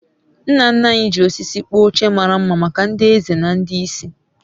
nna nna anyị ji osisi kpụọ oche mara mma maka ndị eze na ndị isi